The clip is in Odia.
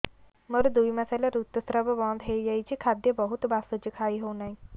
ମୋର ଦୁଇ ମାସ ହେଲା ଋତୁ ସ୍ରାବ ବନ୍ଦ ହେଇଯାଇଛି ଖାଦ୍ୟ ବହୁତ ବାସୁଛି ଖାଇ ହଉ ନାହିଁ